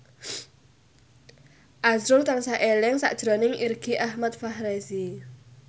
azrul tansah eling sakjroning Irgi Ahmad Fahrezi